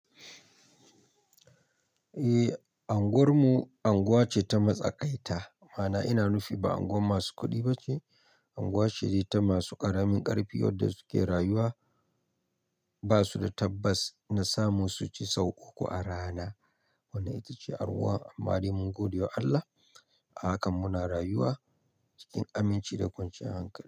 Eh, unguwar mu unguwa ce ta matsakaita. Ma'ana ina nufi ba unguwar masu kuɗi ba ce, unguwa ce ta masu ƙaramin ƙarfi wadda suke rayuwa. Ba su da tabbas na samu su ci sau uku a rana. Wannan ita ce arwuwan amma da rimin godiyar Allah, a hakan muna rayuwa cikin aminci da kwanciyar hankali.